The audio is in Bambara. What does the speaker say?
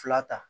Fila ta